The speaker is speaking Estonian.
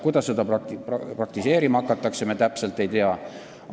Kuidas seda praktiseerima hakatakse, me täpselt ei tea.